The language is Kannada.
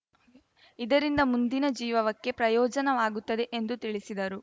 ಇದರಿಂದ ಮುಂದಿನ ಜೀವವಕ್ಕೆ ಪ್ರಯೋಜವಾಗುತ್ತದೆ ಎಂದು ತಿಳಿಸಿದರು